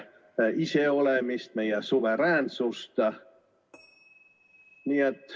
... meie iseolemist, meie suveräänsust.